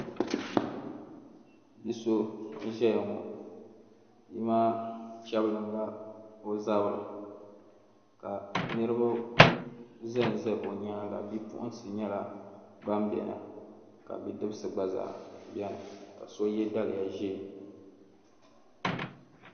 Bia so n ʒɛya ŋo bia maa chɛbilinla o zabiri ka niraba ʒɛnʒɛ o nyaanga bipuɣunsi nyɛla ban biɛni ka bidibsi gba biɛni ka so yɛ daliya ʒiɛ